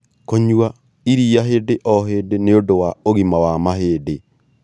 Kũnyua iria hĩndĩ o hĩndĩ nĩũndu wa ũgima wa mahĩndĩ